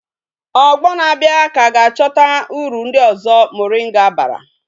Ogbo na abia ka ga achota uru ndi ozo moringa bara